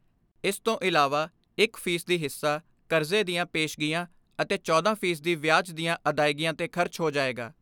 ਇਸ ਤੋਂ ਇਲਾਵਾ ਇਕ ਫ਼ੀ ਸਦੀ ਹਿੱਸਾ ਕਰਜ਼ੇ ਦੀਆਂ ਪੇਸ਼ਗੀਆਂ ਅਤੇ ਚੌਦਾਂ ਫੀ ਸਦੀ ਵਿਆਜ ਦੀਆਂ ਅਦਾਇਗੀਆਂ ਤੇ ਖਰਚ ਹੋ ਜਾਏਗਾ।